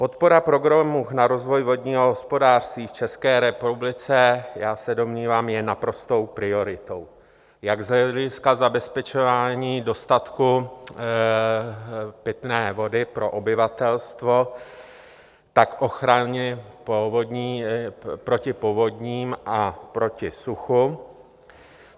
Podpora programu na rozvoj vodního hospodářství v České republice, já se domnívám, je naprostou prioritou jak z hlediska zabezpečování dostatku pitné vody pro obyvatelstvo, tak ochrany proti povodním a proti suchu.